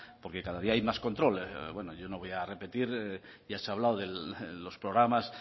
porque cada día hay más control bueno yo no voy a repetir ya se ha hablado de los programas